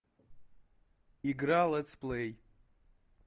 игра летсплей